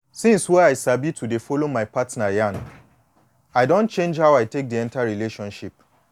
since wey i sabi to dey follow my partner yan i don change how i take de enter relationship